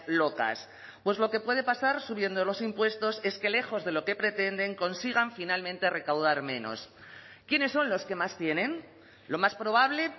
locas pues lo que puede pasar subiendo los impuestos es que lejos de lo que pretenden consigan finalmente recaudar menos quiénes son los que más tienen lo más probable